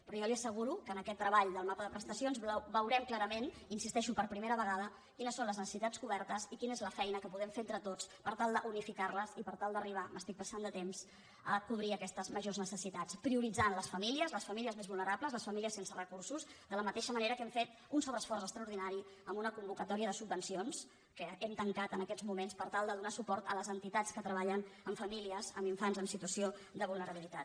però jo li asseguro que amb aquest treball del mapa de presta·cions veurem clarament hi insisteixo per primera ve·gada quines són les necessitats cobertes i quina és la feina que podem fer entre tots per tal d’unificar·les i per tal d’arribar em passo de temps a cobrir aques·tes majors necessitats prioritzant les famílies les fa·mílies més vulnerables les famílies sense recursos de la mateixa manera que hem fet un sobreesforç extraor·dinari amb una convocatòria de subvencions que hem tancat en aquests moments per tal de donar suport a les entitats que treballen amb famílies amb infants en situació de vulnerabilitat